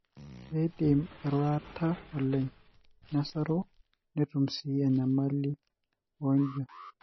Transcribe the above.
keidim airurata oleng, nesasu netum sii enyamali aijio .